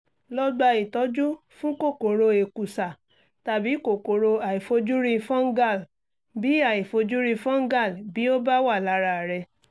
lọ gba ìtọ́jú fún kòkòrò èkùsá tàbí kòkòrò àìfojúrí fungal bí àìfojúrí fungal bí ó bá wà lára rẹ